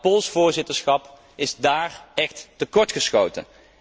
Het Pools voorzitterschap is daar echt tekortgeschoten.